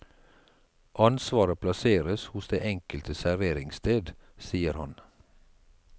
Ansvaret plasseres hos det enkelte serveringssted, sier han.